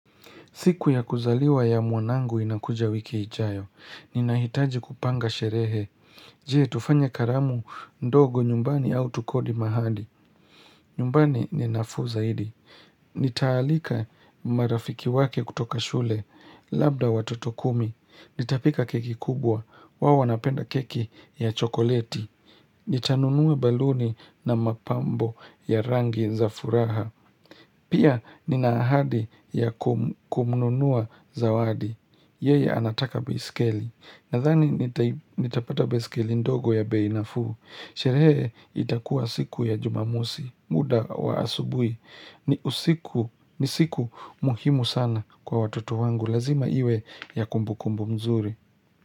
Siku ya kuzaliwa ya mwanangu inakuja wiki ijayo. Ninahitaji kupanga sherehe. Je, tufanye karamu ndogo nyumbani au tukodi mahali. Nyumbani ni nafuu zaidi. Nitaalika marafiki wake kutoka shule. Labda watoto kumi. Nitapika keki kubwa. Wao wanapenda keki ya chokoleti. Nitanunua baluni na mapambo ya rangi za furaha. Pia ninaahadi ya kumnunua zawadi, yeye anataka baisikeli, nadhani nitapata baisikeli ndogo ya bei nafuu, sherehe itakuwa siku ya jumamosi, muda wa asubuhi, ni siku muhimu sana kwa watoto wangu, lazima iwe ya kumbu kumbu mzuri.